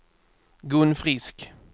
Gun Frisk